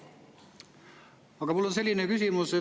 Aga mul on selline küsimus.